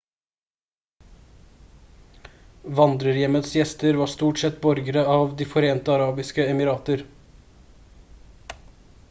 vandrerhjemmets gjester var stort sett borgere av de forente arabiske emirater